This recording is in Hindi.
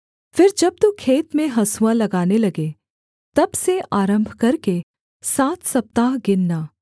फिर जब तू खेत में हँसुआ लगाने लगे तब से आरम्भ करके सात सप्ताह गिनना